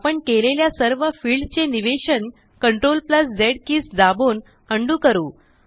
आपण केलेल्या सर्व फिल्ड चे निवेशन CTRLZ कीज दाबून उंडो करू